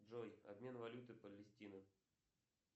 джой обмен валюты палестины